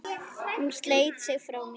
Hún sleit sig frá mér.